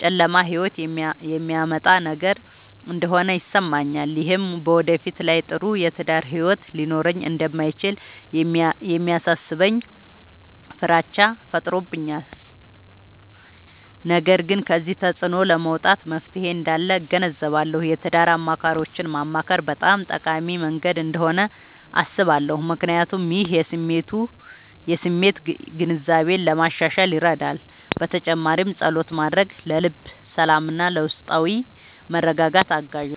ጨለማ ሕይወት የሚያመጣ ነገር እንደሆነ ይሰማኛል። ይህም በወደፊት ላይ ጥሩ የትዳር ሕይወት ሊኖረኝ እንደማይችል የሚያሳስበኝ ፍራቻ ፈጥሮብኛል። ነገር ግን ከዚህ ተፅዕኖ ለመውጣት መፍትሔ እንዳለ እገነዘባለሁ። የትዳር አማካሪዎችን ማማከር በጣም ጠቃሚ መንገድ እንደሆነ አስባለሁ፣ ምክንያቱም ይህ የስሜት ግንዛቤን ለማሻሻል ይረዳል። በተጨማሪም ፀሎት ማድረግ ለልብ ሰላምና ለውስጣዊ መረጋጋት አጋዥ ነው።